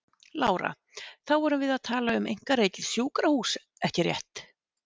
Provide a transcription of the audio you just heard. Lára: Þá erum við að tala um einkarekið sjúkrahús ekki rétt?